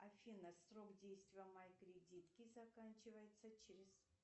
афина срок действия моей кредитки заканчивается через